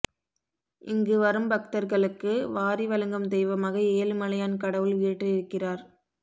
இங்கு வரும்பக்தர்களுக்கு வாரி வழங்கும் தெய்வமாக ஏழுமலையான் கடவுள் வீற்றிருக்கிறார்